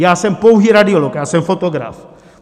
Já jsem pouhý radiolog, já jsem fotograf.